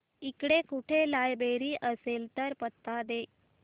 इकडे कुठे लायब्रेरी असेल तर पत्ता दे